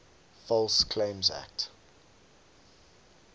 false claims act